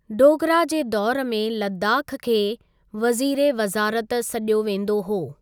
डोगरा जे दौर में लद्दाख खे वज़ीर ए वज़ारत सॾियो वेंदो हो।